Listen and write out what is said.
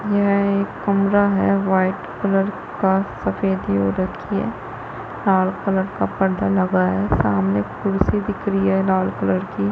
यह एक कमरा है वाइट कलर का सफेदी हो रखी है लाल कलर का पर्दा लगा है सामने कुर्सी दिख रही हैं लाल कलर की --